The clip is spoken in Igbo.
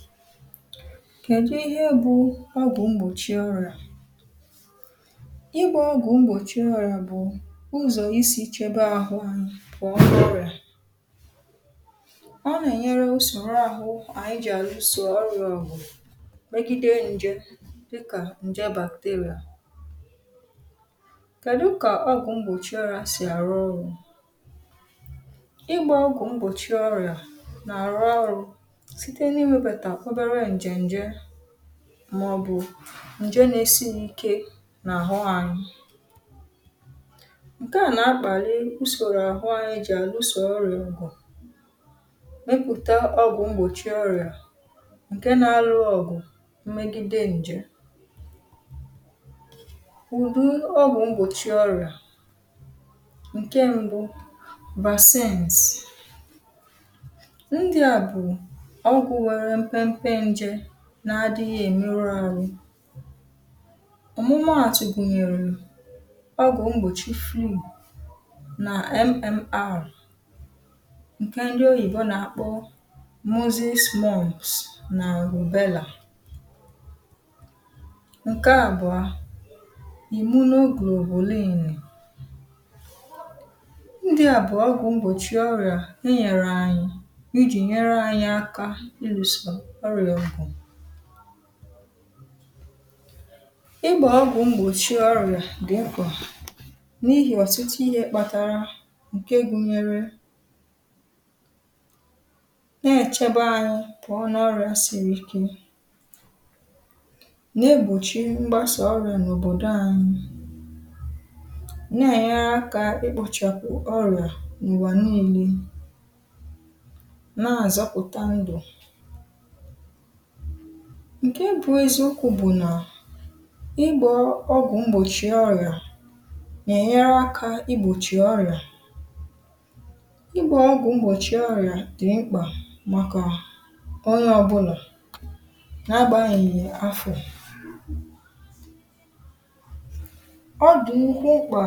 file 129 kẹ̀dụ ịhẹ bụ ọgwụ mgbòchi ọrịà? ị gbā ọgwụ mgbòchi ọrịà bụ̀ ụzọ̀ isī chẹbẹ àhụ anyị pụ̀ọ n’ọrịà. ọ nà ẹ̀nyẹrẹ usòro ahụ ànyị jì àlusò ọrịà ọ̀gụ̀, mẹgide njẹ dịkà ǹjẹ bacteria. kẹ̀dụ kà ọgwụ̄ mgbòchi ọrịā sì àrụ ọrụ̄? ịgbā ọgwụ mgbòchi ọrịà nà àrụ ọrụ̄, site n’iwēbètè ọbẹrẹ ǹjẹ̀ ǹjẹ, mà ọ̀ bụ̀, ǹjẹ na esi n’ìke nà àhụ anyị, ǹkẹ à nà akpàri usòro àhụ anyị jì àlusò ọrịà ọ̀gụ̀, mepùta ọgwụ̄ mgbòchi ọrịà ǹkẹ na alụ ọ̀gụ̀ mmegide ǹjẹ̀m̀ ụ̀dị ọgwụ̄ mgbòchi ọrịà. ǹkẹ mbụ, vaccines. ndịà bụ̀ ọgwụ̄ nwẹrẹ mpẹmpẹ njẹ na adịghị̄ èmeru arụ. ọ̀mụmàtụ̀ gùnyèrè ọgwụ̀ mgbòchi flu nà MMR, ǹkẹ̀ ndị oyìbo nà àkpọ Moses mumps nà Ùbẹlà. ǹkẹ àbụ̀ọ, immunoglobulin. ndị̄à bụ̀ ọgwụ̄ mgbòchi ọrịà ẹ nyẹ̀rẹ̀ anyị ijì nyẹrẹ anyị aka ịlụ̀sà ọrị̀à ọ̀gụ̀. ịgbà ọgwụ̄ mgbòchi ọrị̀à dị̀ mkpà, n’ihì ọ̀tụtụ ihē kpatara ǹke gunyere, nà ẹ̀chẹbẹ anyị pụọ n’ọrịā siri ike, na egbòchi mgbasà ọrị̀à n’òbòdo anyị, nà ẹ̀nyẹrẹ akā ị kpọ̄chìghàkwù ọrị̀à n’ụ̀wà nille, nà àzọpụ̀ta ndụ̀. ǹkẹ bụ eziokwu bụ̀ nà ịgbā ọgwụ mgbòchi ọrịà, nà ẹ̀nyẹrẹ akā I gbòchì ọrị̀à. ị gbā ọgwụ mgbòchi ọrịà dị̀ mkpà màkà onye ọbụnà, na agbanyeghì afọ̀. ọ dị̀ nnukwu mkpà